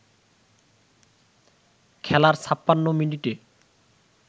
খেলার ৫৬ মিনিটে